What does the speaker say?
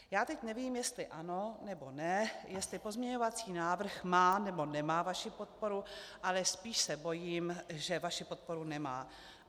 Já teď nevím, jestli ano, nebo ne, jestli pozměňovací návrh má, nebo nemá vaši podporu, ale spíš se bojím, že vaši podporu nemá.